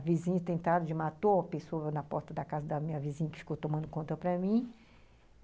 A vizinha tentaram, matou uma pessoa na porta da casa da minha vizinha, que ficou tomando conta para mim.